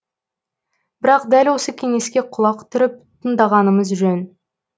бірақ дәл осы кеңеске құлақ түріп тыңдағанымыз жөн